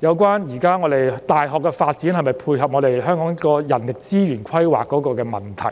有關現時大學的發展能否配合香港人力資源規劃的問題。